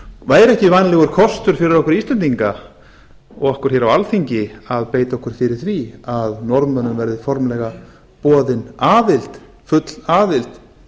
væri ekki vænlegur kostur fyrir okkur íslendinga og okkur hér á alþingi að beita okkur fyrir því að norðmönnum verði formlega boðin aðild full aðild